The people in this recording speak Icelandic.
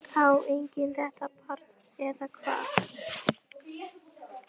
Á enginn þetta barn eða hvað?